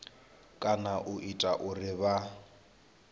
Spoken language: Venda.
kana u ita uri vha